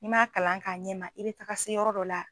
N'i m'a kalan k'a ɲɛ ma i bɛ taga se yɔrɔ dɔ la